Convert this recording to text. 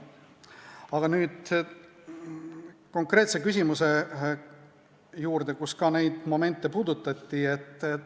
Aga tulen nüüd konkreetse küsimuse juurde, milles puudutati ka neid momente.